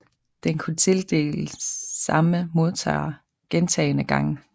Den kunne tildeles samme modtager gentagene gange